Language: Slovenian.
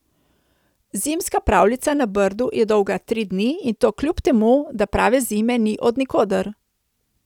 Zimska pravljica na Brdu je dolga tri dni in to kljub temu, da prave zime ni od nikoder.